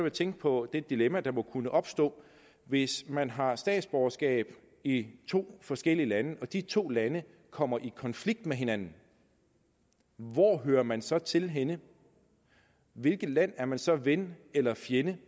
at tænke på det dilemma der må kunne opstå hvis man har statsborgerskab i to forskellige lande og de to lande kommer i konflikt med hinanden hvor hører man så til henne hvilket land er man så ven eller fjende